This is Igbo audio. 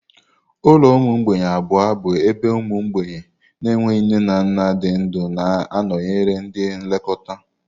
Ụlọ ụmụ mgbei abụọ bụ ebe ụmụ mgbei na-enweghị nne na nna dị ndụ na-anọnyere ndị nlekọta.